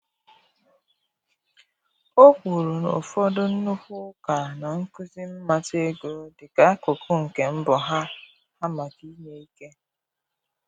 Ọ kwuru na ụfọdụ nnukwu ụka na-akụzi mmata ego dị ka akụkụ nke mbọ ha ha maka inye ike.